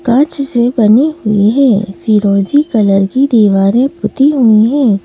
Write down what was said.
काँच से बनी हुई है फिरोजी कलर की दीवारें पुती हुई हैं ।